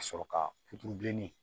Ka sɔrɔ ka puturu bilenni